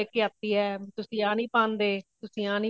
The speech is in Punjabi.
ਇਹ ਲੇਕੇ ਆਤੀ ਹੈ ਤੁਸੀਂ ਆ ਨਹੀਂ ਪਾਂਦੇ ਤੁਸੀਂ ਆਹ ਨਹੀਂ